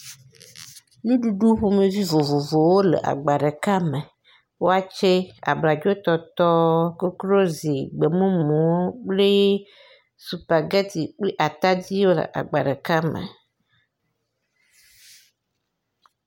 Nuɖuɖu ƒomevi vovovowo le agba ɖeka me. Wakye, abladzotɔtɔɔ, koklozi, gbemumu kplii supageti kpli atadi wole agba ɖeka me.